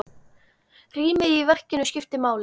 Rýmið í verkinu skiptir máli.